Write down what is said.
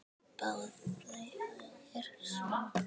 Báðir sungu.